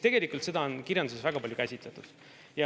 Tegelikult on seda kirjanduses väga palju käsitletud.